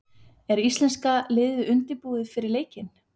Er íslenska liðið undirbúið fyrir leikinn?